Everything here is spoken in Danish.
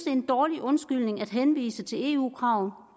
er en dårlig undskyldning at henvise til eu krav